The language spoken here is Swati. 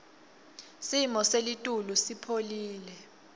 simo selitulu sipholile